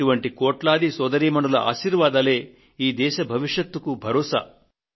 ఇటువంటి కోట్లాది సోదరీమణుల ఆశీర్వాదాలే ఈ దేశ భవిష్యత్తుకు ఊతం